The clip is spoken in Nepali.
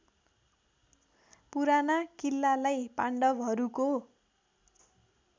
पुराना किल्लालाई पाण्डवहरूको